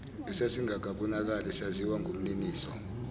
esasingakabonakali saziwa ngumniniso